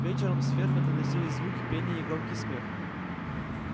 вечером с фермы доносились звуки пения и громкий смех